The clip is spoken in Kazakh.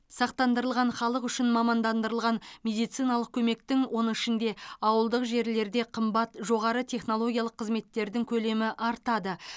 сақтандырылған халық үшін мамандандырылған медициналық көмектің оның ішінде ауылдық жерлерде қымбат жоғары технологиялық қызметтердің көлемі артады